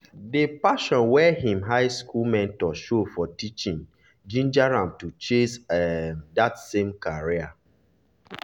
the passion wey him high school mentor show for teaching ginger am to chase um that same career.